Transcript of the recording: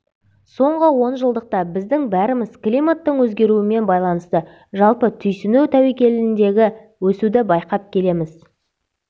соңғы онжылдықта біздің бәріміз климаттың өзгеруімен байланысты жалпы түйсіну тәуекеліндегі өсуді байқап келеміз